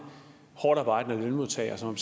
hårdtarbejdende lønmodtagere som